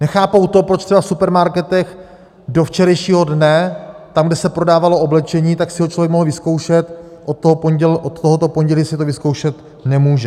Nechápou to, proč třeba v supermarketech do včerejšího dne tam, kde se prodávalo oblečení, tak si ho člověk mohl vyzkoušet, od tohoto pondělí si to vyzkoušet nemůže.